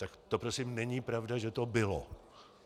Tak to prosím není pravda, že to bylo.